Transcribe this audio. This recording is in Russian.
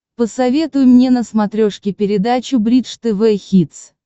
посоветуй мне на смотрешке передачу бридж тв хитс